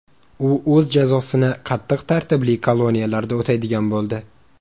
U o‘z jazosini qattiq tartibli koloniyalarda o‘taydigan bo‘ldi.